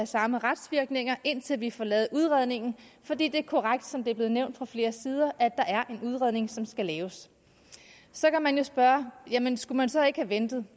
samme retsvirkninger indtil vi får lavet udredningen for det er korrekt som det er blevet nævnt fra flere sider at der er en udredning som skal laves så kan man jo spørge jamen skulle man så ikke have ventet